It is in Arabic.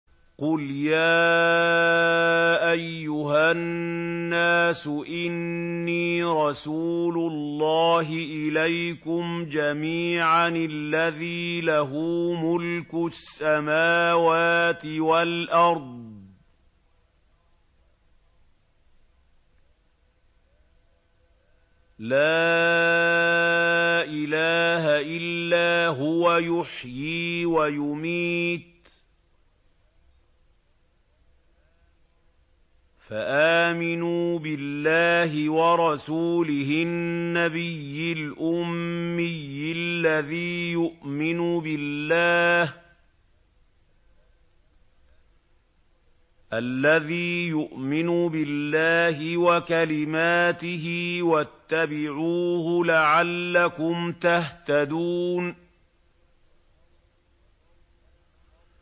قُلْ يَا أَيُّهَا النَّاسُ إِنِّي رَسُولُ اللَّهِ إِلَيْكُمْ جَمِيعًا الَّذِي لَهُ مُلْكُ السَّمَاوَاتِ وَالْأَرْضِ ۖ لَا إِلَٰهَ إِلَّا هُوَ يُحْيِي وَيُمِيتُ ۖ فَآمِنُوا بِاللَّهِ وَرَسُولِهِ النَّبِيِّ الْأُمِّيِّ الَّذِي يُؤْمِنُ بِاللَّهِ وَكَلِمَاتِهِ وَاتَّبِعُوهُ لَعَلَّكُمْ تَهْتَدُونَ